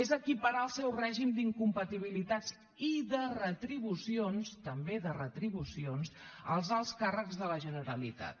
és equiparar el seu règim d’incompatibilitats i de retribucions també de retribucions als alts càrrecs de la generalitat